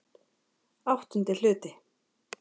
VIII Hluti